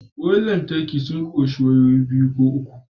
Wayoyin lantarki sun ƙunshi wayoyi biyu ko uku